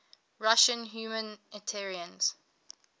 russian humanitarians